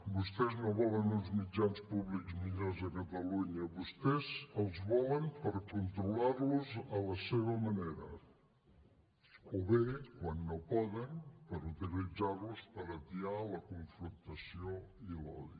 vostès no volen uns mitjans públics millors a catalunya vostès els volen per controlar los a la seva manera o bé quan no poden per utilitzar los per atiar la confrontació i l’odi